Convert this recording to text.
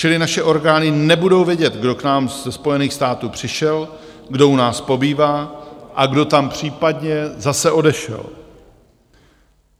Čili naše orgány nebudou vědět, kdo k nám ze Spojených států přišel, kdo u nás pobývá a kdo tam případně zase odešel.